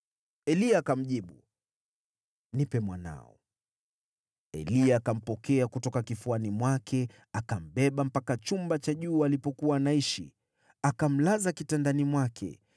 Eliya akamjibu, “Nipe mwanao.” Eliya akampokea kutoka kifuani mwake, akambeba mpaka chumba cha juu alipokuwa anaishi, akamlaza kitandani mwake.